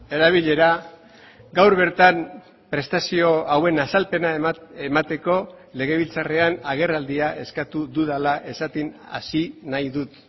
erabilera gaur bertan prestazio hauen azalpena emateko legebiltzarrean agerraldia eskatu dudala esaten hasi nahi dut